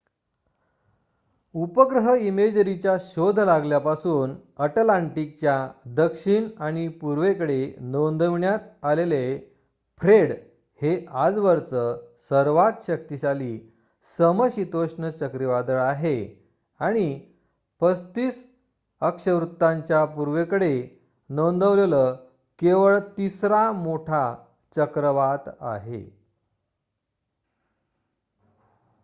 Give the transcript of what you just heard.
उपग्रह इमेजरीचा शोध लागल्यापासून अटलांटिकच्या दक्षिण आणि पूर्वेकडे नोंदविण्यात आलेलं फ्रेड हे आजवरचं सर्वात शक्तिशाली समशीतोष्ण चक्रावीदळ आहे आणि 35°w च्या पूर्वेकडे नोंदवलेलं केवळ तिसरा मोठा चक्रवात आहे